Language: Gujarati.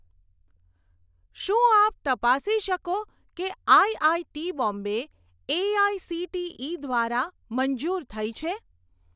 શું આપ તપાસી શકો કે આઇઆઇટી બોમ્બે એઆઇસીટીઇ દ્વારા મંજૂર થઇ છે?